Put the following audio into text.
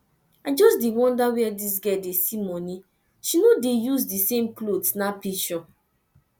i just dey wonder where dis girl dey see money she no dey use the same cloth snap pishure